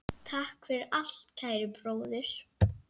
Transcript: Takk fyrir allt, kæri bróðir.